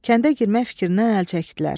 Kəndə girmək fikrindən əl çəkdilər.